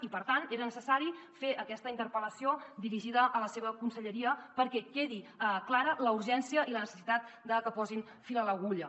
i per tant era necessari fer aquesta interpel·lació dirigida a la seva conselleria perquè quedin clares la urgència i la necessitat de que posin fil a l’agulla